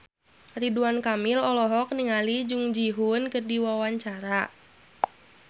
Ridwan Kamil olohok ningali Jung Ji Hoon keur diwawancara